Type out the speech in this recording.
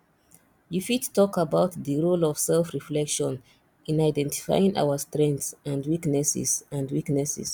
you fit talk about di role of selfreflection in identifying our strengths and weaknesses and weaknesses